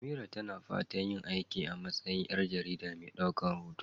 Amira na fatan yin aiki a matsayin ƴar jarida mai ɗaukar hoto.